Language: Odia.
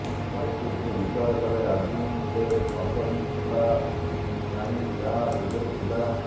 ପରିସ୍ଥିତିକୁ ବିଚାର କଲେ ଆଜି ସେ ଅସହିଷ୍ଣୁତା ନାହିଁ ଯାହା ପୂର୍ବରୁ ଥିଲା